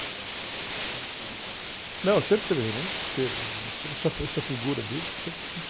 O cordão tinha rei e rainha, tinha rei Momo também?ão, sempre teve, Rei Momo sempre teve, esse, essa, essa figura deles, sempre...